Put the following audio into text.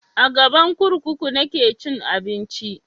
A gaban kurkuku nake cin abinci